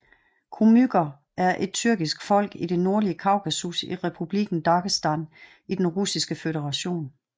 Kumyker er et tyrkisk folk i det nordlige Kaukasus i Republikken Dagestan i Den russiske føderation